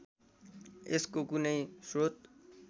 यसको कुनै स्रोत